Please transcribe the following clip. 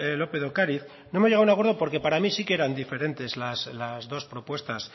lópez de ocariz no hemos llegado a un acuerdo porque para mí sí que eran diferentes las dos propuestas